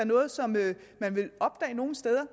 noget som man vil opdage nogen steder